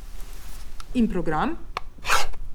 In program?